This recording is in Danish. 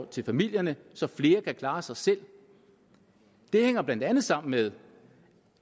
til familierne så flere kan klare sig selv det hænger blandt andet sammen med